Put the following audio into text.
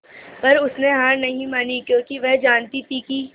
पर उसने हार नहीं मानी क्योंकि वह जानती थी कि